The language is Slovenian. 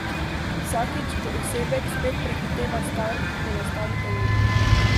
Vsakič, ko osebek spet prehiteva start, ponastavite uro.